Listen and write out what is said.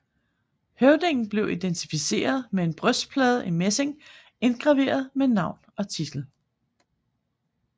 Høvdingen blev identificeret med en brystplade i messing indgraveret med navn og titel